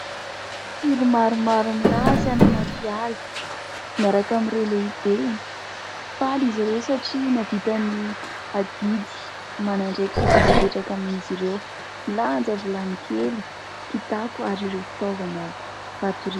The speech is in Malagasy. Tily maromaro milasy any anaty ala miaraka amin'ireo lehibeny. Faly izy ireo satria nahavita ny adidy aman'andraikitra izay napetraka amin'izy ireo. Milanja vilany kely, kitapo ary ireo fitaovana fatoriana.